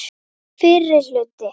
Fyrri hluti.